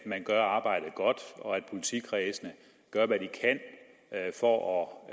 at man gør arbejdet godt og at politikredsene gør hvad de kan for at